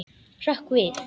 Hrökk við.